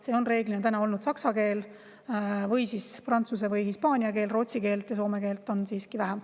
See on reeglina olnud saksa keel või siis prantsuse või hispaania keel, rootsi keelt ja soome keelt on siiski vähem.